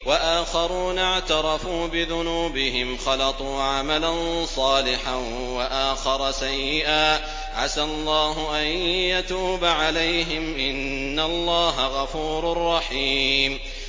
وَآخَرُونَ اعْتَرَفُوا بِذُنُوبِهِمْ خَلَطُوا عَمَلًا صَالِحًا وَآخَرَ سَيِّئًا عَسَى اللَّهُ أَن يَتُوبَ عَلَيْهِمْ ۚ إِنَّ اللَّهَ غَفُورٌ رَّحِيمٌ